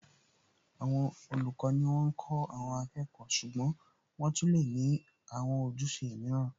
Àwọn olùkọ́ ni wọ́n ń kó àwọn akẹ́kọ̀ọ́ ṣùgbọ́n wọ́n tún lè ní àwọn ojúṣe mìíràn